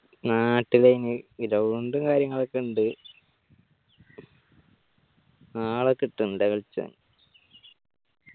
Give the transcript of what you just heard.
നാട്ടില് അയിന് ground കാര്യങ്ങളൊക്കെ ഇണ്ട് ആള കിട്ടണ്ടെ കളിചാൻ